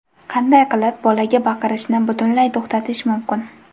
Qanday qilib bolaga baqirishni butunlay to‘xtatish mumkin?.